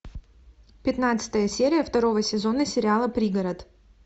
пятнадцатая серия второго сезона сериала пригород